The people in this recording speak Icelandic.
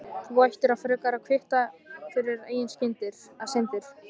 Þú ættir frekar að kvitta fyrir eigin syndir.